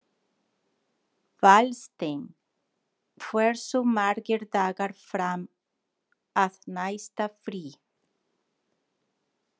Valsteinn, hversu margir dagar fram að næsta fríi?